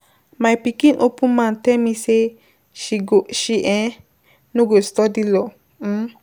My pikin open mouth tell me say she go she um no go study law um.